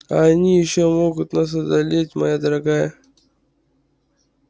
а они ещё могут нас одолеть моя дорогая